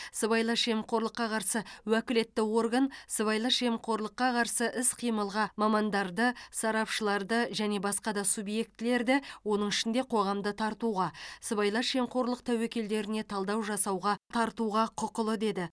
сыбайлас жемқорлыққа қарсы уәкілетті орган сыбайлас жемқорлыққа қарсы іс қимылға мамандарды сарапшыларды және басқа да субъектілерді оның ішінде қоғамды тартуға сыбайлас жемқорлық тәуекелдеріне талдау жасауға тартуға құқылы деді